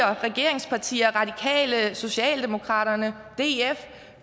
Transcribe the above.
regeringspartierne radikale socialdemokraterne og df